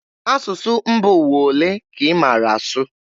Asụsụ mba ụwa olee ka ị maara asụ?